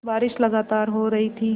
बारिश लगातार हो रही थी